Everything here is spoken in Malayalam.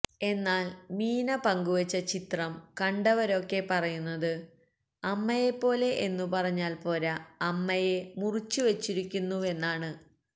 എന്നാല് മീന പങ്കുവച്ച ചിത്രം കണ്ടവരൊക്കെ പറയുന്നത് അമ്മയെപ്പോലെ എന്നുപറഞ്ഞാല് പോര അമ്മയെ മുറിച്ചുവച്ചിരിക്കുന്നുവെന്നാണ്